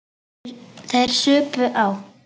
Þeir supu á.